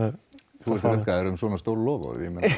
þú ert rukkaður um svona stór loforð